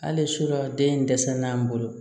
Hali sini den in dɛsɛ na an bolo